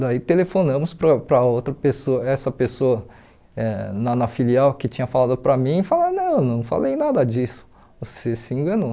Então, ãh por que que eles faziam isso?